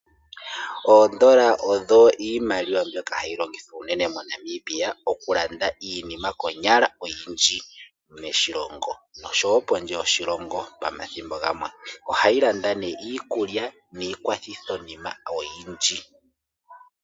Oondola odho iimaliwa mbyoka hayi longithwa unene moNamibia okulanda iknima konyala oyindjii moshilongo osho wo pondje yoshilongo omathimbo gamwe. Ohayi landa nee iikulya niikwathithonima oyindji